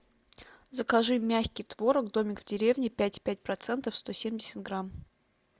закажи мягкий творог домик в деревне пять и пять процента сто семьдесят грамм